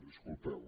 disculpeu